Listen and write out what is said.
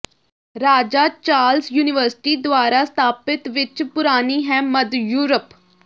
ਰਾਜਾ Charles university ਦੁਆਰਾ ਸਥਾਪਤ ਵਿਚ ਪੁਰਾਣੀ ਹੈ ਮੱਧ ਯੂਰਪ